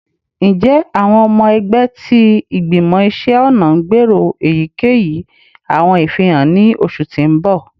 Njẹ awọn ọmọ ẹgbẹ ti Igbimọ Iṣẹ ọna n gbero eyikeyi awọn ifihan ni oṣu ti n bọ?